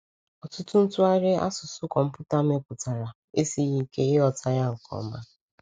Ọtụtụ ntụgharị asụsụ kọmpụta mepụtara esighị ike ịghọta ya nke ọma.